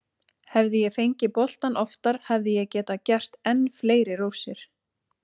Hefði ég fengið boltann oftar hefði ég getað gert enn fleiri rósir.